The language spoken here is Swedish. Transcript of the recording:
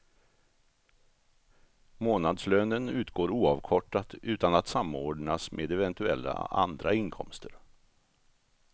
Månadslönen utgår oavkortat utan att samordnas med eventuella andra inkomster.